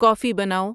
کافی بناؤ